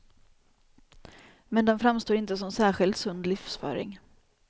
Men den framstår inte som särskilt sund livsföring.